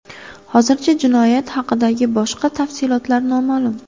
Hozircha jinoyat haqidagi boshqa tafsilotlar noma’lum.